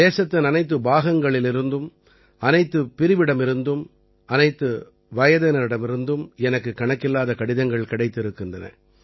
தேசத்தின் அனைத்து பாகங்களிலிருந்தும் அனைத்துப் பிரிவிடமிருந்தும் அனைத்து வயதினரிடமிருந்தும் எனக்குக் கணக்கில்லாத கடிதங்கள் கிடைத்திருக்கின்றன